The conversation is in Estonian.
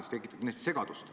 See tekitab kindlasti segadust.